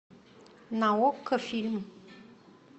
на окко фильм